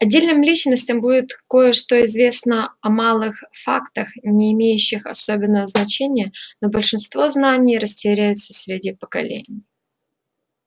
отдельным личностям будет кое-что известно о малых фактах не имеющих особенного значения но большинство знаний растеряется среди поколений